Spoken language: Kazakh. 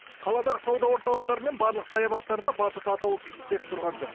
қаладағы сауда орталықтары мен барлық саябақтарда батут атаулысы істеп тұрған жоқ